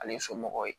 Ale somɔgɔw ye